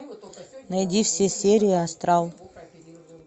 найди все серии астрал